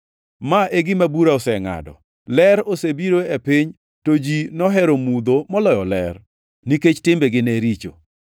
Ma e gima bura osengʼado: Ler osebiro e piny, to ji nohero mudho moloyo ler, nikech timbegi ne richo.